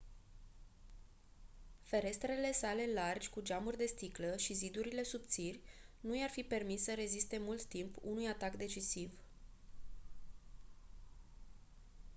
ferestrele sale largi cu geamuri de sticlă și zidurile subțiri nu i-ar fi permis să reziste mult timp unui atac decisiv